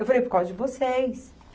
Eu falei, por causa de vocês.